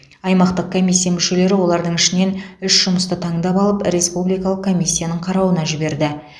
аймақтық комиссия мүшелері олардың ішінен үш жұмысты таңдап алып республикалық комиссияның қарауына жіберді